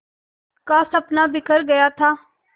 का सपना बिखर गया था